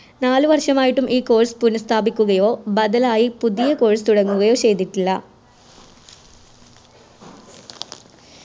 നാല് വർഷമായിട്ടും ഈ Course പുനഃസ്ഥാപിക്കുകയോ ബദലായി പുതിയ Course തുടങ്ങുകയോ ചെയ്തിട്ടില്ല